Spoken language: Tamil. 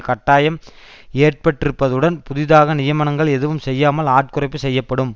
கட்டாயம் ஏற்பட்டிருப்பதுடன் புதிதாக நியமனங்கள் எதுவும் செய்யாமல் ஆட்குறைப்பு செய்யப்படும்